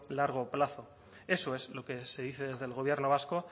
largo plazo eso es lo que se dice desde el gobierno vasco